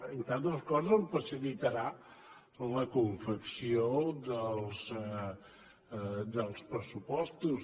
entre altres coses em facilitarà la confecció dels pressupostos